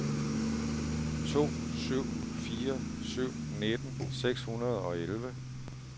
to syv fire syv nitten seks hundrede og elleve